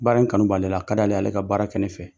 Baara in kanu b'ale la a ka di ale ye a ka baara kɛ ne fɛ